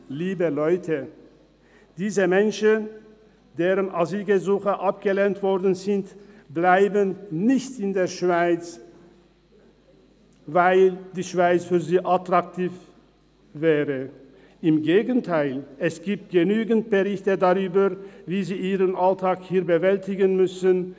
Liebe Leute: Diese Menschen, deren Asylgesuche abgelehnt wurden, bleiben nicht in der Schweiz, weil die Schweiz für sie attraktiv wäre, im Gegenteil: Es gibt genügend Berichte darüber, wie sie ihren Alltag hier bewältigen müssen.